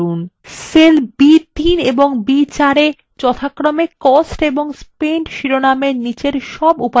cells b3 এবং b4 এ যথাক্রমে cost and spent শিরোনামগুলির নিচের সব উপাদানের যোগফল থাকবে